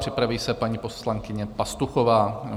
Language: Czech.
Připraví se paní poslankyně Pastuchová.